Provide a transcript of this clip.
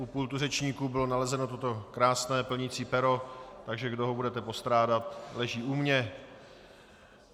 U pultu řečníků bylo nalezeno toto krásné plnicí pero, takže kdo ho budete postrádat, leží u mě.